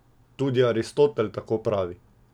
Tudi Aristotel tako pravi.